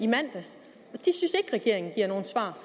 regeringen giver nogen svar